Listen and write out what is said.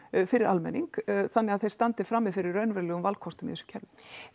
fyrir almenning þannig þeir standi frammi fyrir raunverulegum valkostum í þessu kerfi